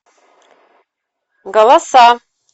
голоса